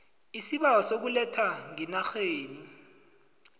isibawo sokuletha ngeenarheni